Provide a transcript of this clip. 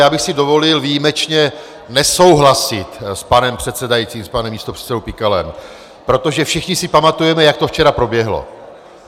Já bych si dovolil výjimečně nesouhlasit s panem předsedajícím, s panem místopředsedou Pikalem, protože všichni si pamatujeme, jak to včera proběhlo.